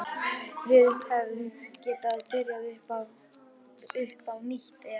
Við hefðum getað byrjað upp á nýtt ef